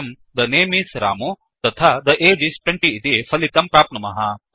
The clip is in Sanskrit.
वयं थे नमे इस् रमु तथा थे अगे इस् 20 इति फलितं प्राप्नुमः